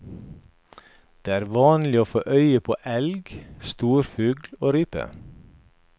Det er vanlig å få øye på elg, storfugl og rype.